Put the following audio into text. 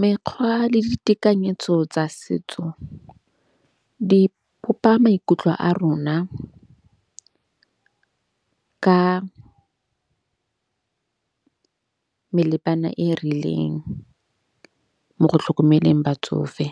Mekgwa le ditekanyetso tsa setso di bopa maikutlo a rona ka melepana e rileng. Mo go tlhokomeleng batsofe.